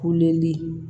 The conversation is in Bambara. Kuleli